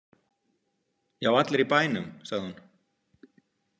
Já, allir í bænum, sagði hún.